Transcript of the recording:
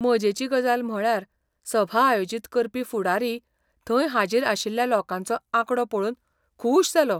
मजेची गजाल म्हळ्यार सभा आयोजीत करपी फुडारी थंय हाजीर आशिल्ल्या लोकांचो आंकडो पळोवन खूश जालो.